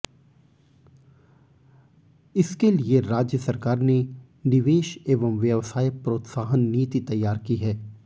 इसके लिए राज्य सरकार ने निवेश एवं व्यवसाय प्रोत्साहन नीति तैयार की है